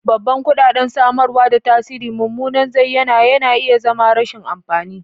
Babban kuɗaɗen samarwa da tasirin mummunan zayyana na iya zama rashin amfani.